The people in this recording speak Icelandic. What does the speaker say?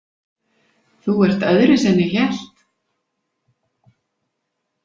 Þú ert öðruvísi en ég hélt.